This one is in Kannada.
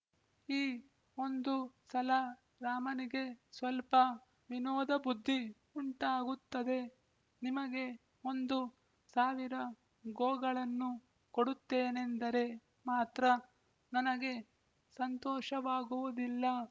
ಈ ಒಂದು ಸಲ ರಾಮನಿಗೆ ಸ್ವಲ್ಪ ವಿನೋದಬುದ್ಧಿ ಉಂಟಾಗುತ್ತದೆ ನಿಮಗೆ ಒಂದು ಸಾವಿರ ಗೋಗಳನ್ನು ಕೊಡುತ್ತೇನೆಂದರೆ ಮಾತ್ರ ನನಗೆ ಸಂತೋಷವಾಗುವುದಿಲ್ಲ